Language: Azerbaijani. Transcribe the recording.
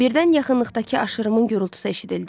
Birdən yaxınlıqdakı aşırımın gurultusu eşidildi.